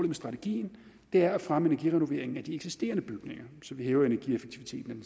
med strategien er at fremme energirenoveringen af de eksisterende bygninger så vi hæver energieffektiviteten